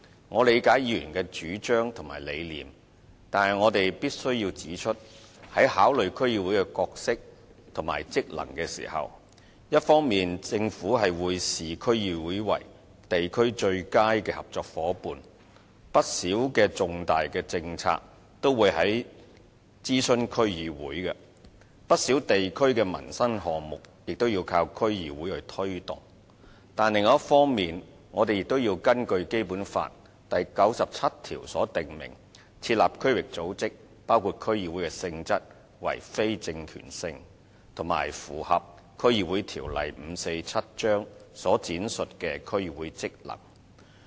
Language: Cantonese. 我理解議員的主張及理念，但我必須指出，在考慮區議會的角色及職能時，一方面政府會視區議會為地區最佳的合作夥伴，不少的重大政策也會諮詢區議會，不少地區的民生項目亦靠區議會推動；但另一方面，我們亦要按照《基本法》第九十七條設立區域組織，而區議會的性質屬非政權性，須符合《區議會條例》所闡述的區議會職能。